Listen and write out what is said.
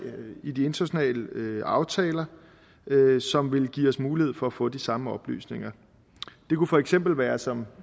i de internationale aftaler som ville give os mulighed for at få de samme oplysninger det kunne for eksempel være som